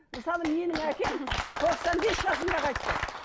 мысалы менің әкем тоқсан бес жасында қайтты